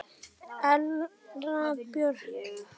Erla Björk.